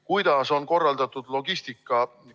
Kuidas on korraldatud logistika?